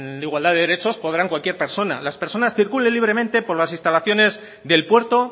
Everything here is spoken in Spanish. en igualdad de derechos podrá cualquier persona que las personas circulen libremente por las instalaciones del puerto